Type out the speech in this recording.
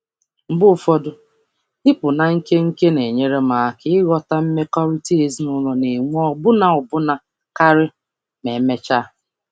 Mgbe ụfọdụ, ịpụ na nkenke na-enyere m aka ịghọta mmekọrịta ezinụlọ na-enwe ọbụna ọbụna karị ma emechaa.